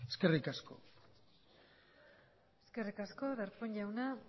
eskerrik asko eskerrik asko darpón jauna